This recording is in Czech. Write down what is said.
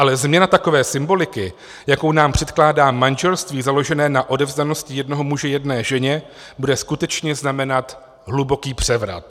Ale změna takové symboliky, jakou nám předkládá manželství založené na odevzdanosti jednoho muže jedné ženě, bude skutečně znamenat hluboký převrat.